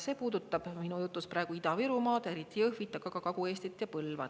See osa minu jutust puudutab praegu Ida-Virumaad, eriti Jõhvit, aga ka Kagu-Eestit, Põlvat.